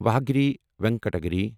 Varahagiri Venkata Giri